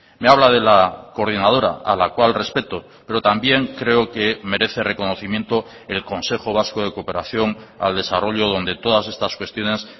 me habla de la coordinadora a la cual respeto pero también creo que merece reconocimiento el consejo vasco de cooperación al desarrollo donde todas estas cuestiones